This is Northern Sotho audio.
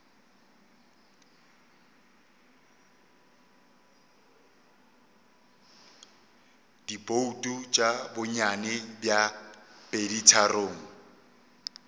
dibouto tša bonnyane bja peditharong